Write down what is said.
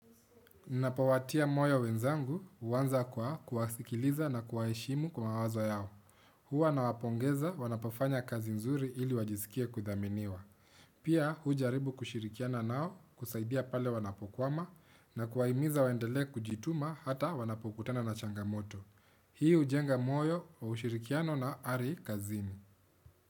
Napowatia moyo wenzangu huanza kwa kuwasikiliza na kuwaheshimu kwa wazo yao. Hua nawa pongeza wanapofanya kazi nzuri ili wajisikie kudhaminiwa. Pia hujaribu kushirikiana nao kusaidia pale wanapo kwama na kuwa himiza waendele kujituma hata wanapokutana na changamoto. Hii hujenga moyo wa ushirikiano na ari kazini.